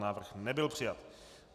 Návrh nebyl přijat.